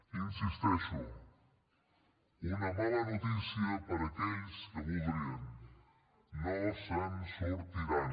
hi insisteixo una mala notícia per a aquells que ho voldrien no se’n sortiran